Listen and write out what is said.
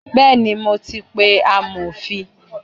Bẹẹni, mo ti pe amofin.